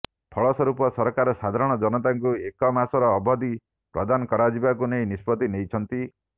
ଫଳସ୍ବରୂପ ସରକାର ସାଧାରଣ ଜନତାଙ୍କୁ ଏକ ମାସର ଅବଧି ପ୍ରଦାନ କରାଯିବାକୁ ନେଇ ନିଷ୍ପତ୍ତି ନେଇଛନ୍ତି